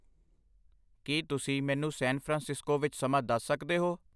ਕੀ ਤੁਸੀਂ ਮੈਨੂੰ San Francisco ਵਿੱਚ ਸਮਾਂ ਦੱਸ ਸਕਦੇ ਹੋ